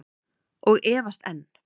Og efast enn.